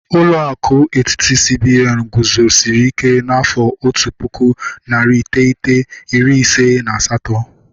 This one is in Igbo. Ụlọ akụ etiti, CBN guzosiri ike n'afọ otu pụkụ, narị iteghete, iri ise na asatọ